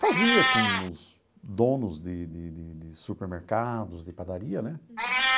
Fazia com os donos de de de de supermercados, de padaria, né? Uhum.